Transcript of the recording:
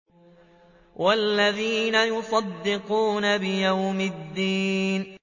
وَالَّذِينَ يُصَدِّقُونَ بِيَوْمِ الدِّينِ